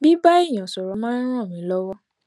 bíbá èèyàn sòrò máa n ràn mí lówó